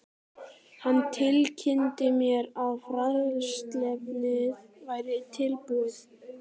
Hann tilkynnti mér, að fræðsluefnið væri tilbúið